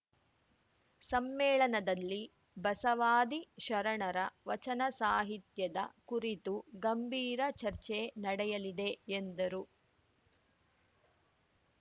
ಸಮ್ಮೇಳನದಲ್ಲಿ ಬಸವಾದಿ ಶರಣರ ವಚನ ಸಾಹಿತ್ಯದ ಕುರಿತು ಗಂಭೀರ ಚರ್ಚೆ ನಡೆಯಲಿದೆ ಎಂದರು